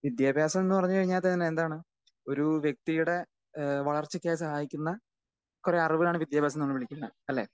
Speaker 2 വിദ്യാഭ്യാസം എന്നു പറഞ്ഞു കഴിഞ്ഞാൽ തന്നെ എന്താണ് ഒരു വ്യക്തിടെ ഏഹ് വളർച്ചയ്ക്കായി സഹായിക്കുന്ന കുറേ അറിവിനാണ് വിദ്യാഭ്യാസം എന്ന് നമ്മള് വിളിക്കുന്നേ അല്ലേ ?